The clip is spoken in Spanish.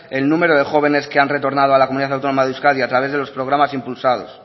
el número de jóvenes que han retornado a la comunidad autónoma de euskadi a través de los programas impulsados